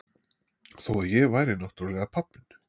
Þó að ég væri náttúrlega pabbinn.